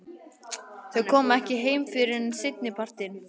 Þau koma ekki heim fyrr en seinnipartinn.